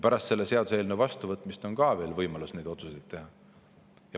Pärast selle seaduseelnõu vastuvõtmist on ka veel võimalus neid otsuseid teha.